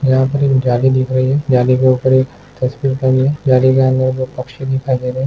यहाँ पर एक जाली दिखाई दे रही है। जाली के ऊपर एक पक्षी दिखाई दे रही है।।जाली के अंदर एक पक्षी दिखाई दे रही है।